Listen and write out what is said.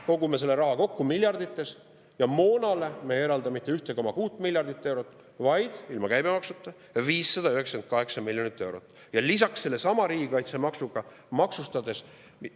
Kogume seda raha miljardites, aga moonale me ei eralda mitte 1,6 miljardit eurot, vaid ilma käibemaksuta 598 miljonit eurot, lisaks seda sellesama riigikaitsemaksuga maksustades.